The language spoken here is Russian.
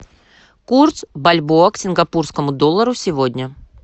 курс бальбоа к сингапурскому доллару сегодня